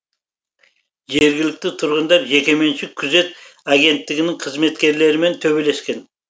жергілікті тұрғындар жекеменшік күзет агенттігінің қызметкерлерімен төбелескен